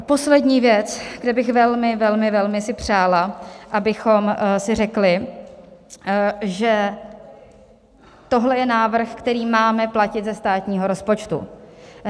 A poslední věc, kde bych velmi, velmi, velmi si přála, abychom si řekli, že tohle je návrh, který máme platit ze státního rozpočtu.